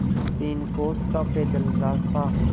तीन कोस का पैदल रास्ता